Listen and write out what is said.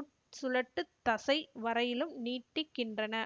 உட்சுழட்டுத்தசை வரையிலும் நீட்டிக்கின்றன